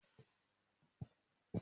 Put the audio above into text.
Mo tá àpò ìrẹsì márùn